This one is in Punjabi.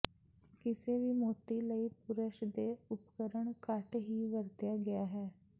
ਕਿਸੇ ਵੀ ਮੋਤੀ ਲਈ ਪੁਰਸ਼ ਦੇ ਉਪਕਰਣ ਘੱਟ ਹੀ ਵਰਤਿਆ ਗਿਆ ਹੈ